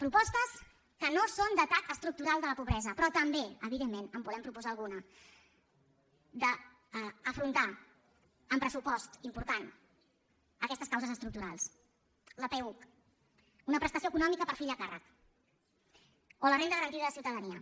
propostes que no són d’atac estructural de la pobresa però també evidentment en volem proposar alguna d’afrontar amb pressupost important aquestes causes estructurals la peuc una prestació econòmica per fill a càrrec o la renda garantida de ciutadania